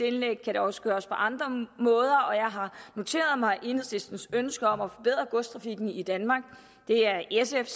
indlæg kan det også gøres på andre måder og mig enhedslistens ønske om at forbedre godstrafikken i danmark det er sf